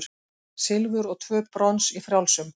Silfur og tvö brons í frjálsum